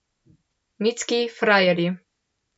Mitski frajerji.